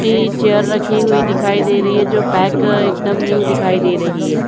Chair रखी हुई दिखाई दे रही है जो पैक एकदम न्यू दिखाई दे रही है।